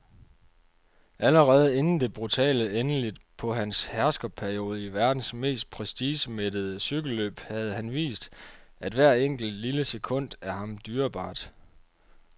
Allerede inden det brutale endeligt på hans herskerperiode i verdens mest prestigemættede cykelløb havde han vist, at hvert enkelt, lille sekund er ham dyrebart.